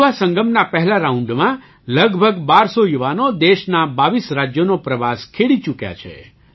યુવાસંગમના પહેલા રાઉન્ડમાં લગભગ ૧૨૦૦ યુવાનો દેશનાં ૨૨ રાજ્યોનો પ્રવાસ ખેડી ચૂક્યા છે